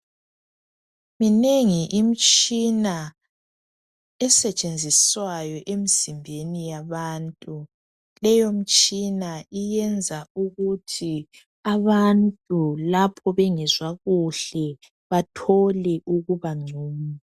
Minegi imtshina estshenziswayo emzimbeni yabantu leyo mtshina yenza ukuthi abantu lapho bengezwa kuhle bathole ukuba ngcono.